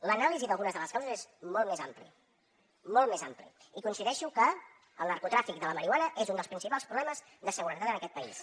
l’anàlisi d’algunes de les causes és molt més ampli molt més ampli i coincideixo que el narcotràfic de la marihuana és un dels principals problemes de seguretat en aquest país